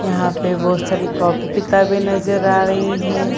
यहां पे बहुत सारी कॉपी किताबें नजर आ रही हें।